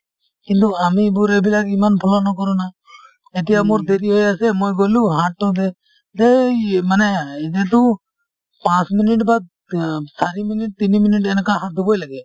কিন্তু আমি এইবোৰে এইবিলাক ইমান follow নকৰো না এতিয়া মোৰ দেৰি হৈ আছে মই গলো হাততো দে ধ্যেই মানে এতিয়াতো পাঁচ minute অ চাৰি minute তিনি minute এনেকুৱা হাত ধুবই লাগে